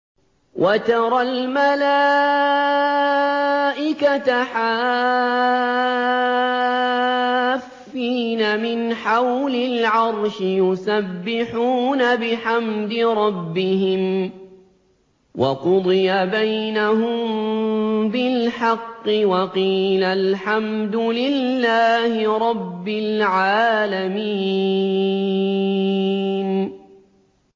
وَتَرَى الْمَلَائِكَةَ حَافِّينَ مِنْ حَوْلِ الْعَرْشِ يُسَبِّحُونَ بِحَمْدِ رَبِّهِمْ ۖ وَقُضِيَ بَيْنَهُم بِالْحَقِّ وَقِيلَ الْحَمْدُ لِلَّهِ رَبِّ الْعَالَمِينَ